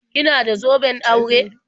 Kina da zoben aure?